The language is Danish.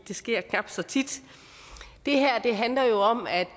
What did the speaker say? det sker ikke så tit det her handler jo om at